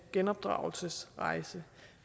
genopdragelsesrejse